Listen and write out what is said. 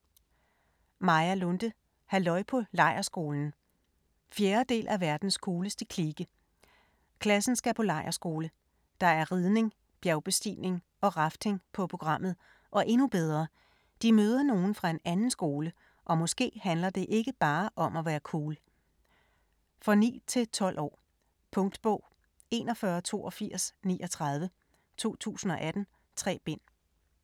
Lunde, Maja: Halløj på lejrskolen 4. del af Verdens cooleste klike. Klassen skal på lejrskole. Der er ridning, bjergbestigning og rafting på programmet, og endnu bedre: De møder nogle fra en anden skole, og måske handler det ikke bare om at være cool. For 9-12 år. Punktbog 418239 2018. 3 bind.